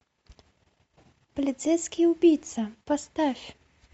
полицейский убийца поставь